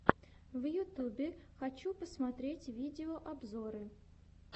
в ютюбе хочу посмотреть видеообзоры